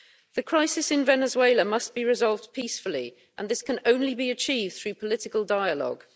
The crisis in Venezuela must be resolved peacefully and this can only be achieved through political dialogue.